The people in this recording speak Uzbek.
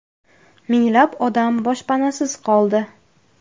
Minglab odam boshpanasiz qoldi.